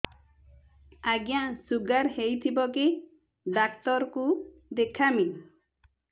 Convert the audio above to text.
ଆଜ୍ଞା ଶୁଗାର ହେଇଥିବ କେ ଡାକ୍ତର କୁ ଦେଖାମି